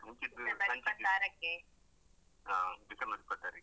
ಹಾ December ಇಪ್ಪತ್ತಾರಕ್ಕೆ.